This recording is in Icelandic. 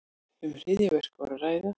Um hryðjuverk var að ræða